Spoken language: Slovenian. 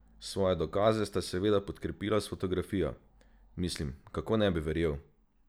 Svoje dokaze sta seveda podkrepila s fotografijo: "Mislim, kako ne bi verjel?